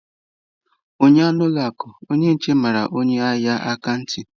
Ụnyaahụ na ụlọ akụ, onye nche mara onye ahịa aka ntị.